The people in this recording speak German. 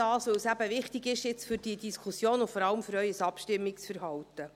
– Weil es wichtig ist für diese Diskussion und vor allem für Ihr Abstimmungsverhalten.